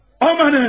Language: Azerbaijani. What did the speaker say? Amanım!